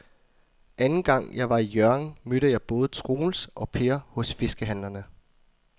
Anden gang jeg var i Hjørring, mødte jeg både Troels og Per hos fiskehandlerne.